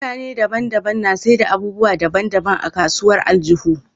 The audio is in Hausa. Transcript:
Mutane daban daban na saida abubuwa daban daban a kasuwar aljihu